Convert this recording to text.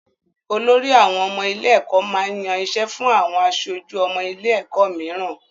Olorí àwọn ọmọ ilé-ẹ̀kọ́ máa ń yan iṣẹ́ fún àwọn aṣojú ọmọ ilé-ẹ̀kọ́ mìíràn.